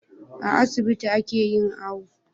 A asibiti ake yin awo